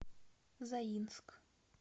заинск